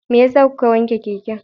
Me yasa kuka wanke keken?